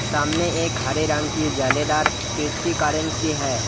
सामने एक हरे रंग की जालीदार है।